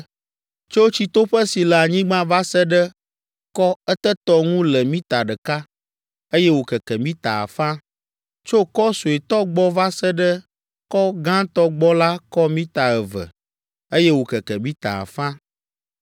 Tso tsitoƒe si le anyigba va se ɖe kɔ etetɔ ŋu le mita ɖeka, eye wòkeke mita afã. Tso kɔ suetɔ gbɔ va se ɖe kɔ gãtɔ gbɔ la kɔ mita eve, eye wòkeke mita afã.